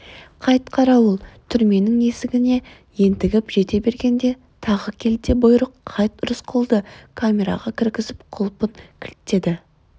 қайт қарауыл түрменің есігіне ентігіп жете бергенде тағы келте бұйрық қайт рысқұлды камераға кіргізіп құлпын кілттеді